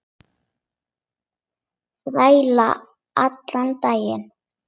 Þræla allan daginn!